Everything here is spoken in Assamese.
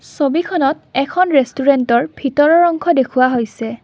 ছবিখনত এখন ৰেষ্টোৰেন্তৰ ভিতৰৰ অংশ দেখুওৱা হৈছে।